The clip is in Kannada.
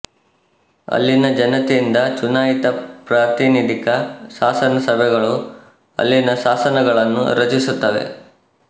ಅಲ್ಲಿನ ಜನತೆಯಿಂದ ಚುನಾಯಿತ ಪ್ರಾತಿನಿಧಿಕ ಶಾಸನಸಭೆಗಳು ಅಲ್ಲಿನ ಶಾಸನಗಳನ್ನು ರಚಿಸುತ್ತವೆ